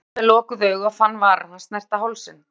Hún leið um með lokuð augu og fann varir hans snerta hálsinn.